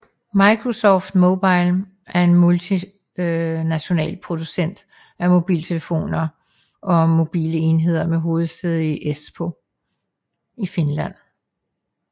Microsoft Mobile er en multinational producent af mobiltelefoner og mobile enheder med hovedsæde i Espoo i Finland